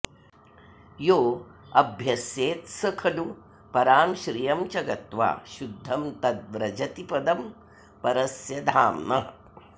योऽभ्यस्येत्स खलु परां श्रियं च गत्वा शुद्धं तद् व्रजति पदं परस्य धाम्नः